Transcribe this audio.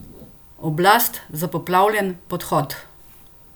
Oblast za poplavljen podhod?